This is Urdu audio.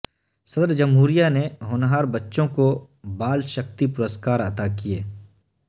صدرجمہوریہ نے ہونہار بچوں کو بال شکتی پرسکار عطا کئے